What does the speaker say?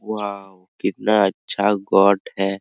Wow कितना अच्छा goat है।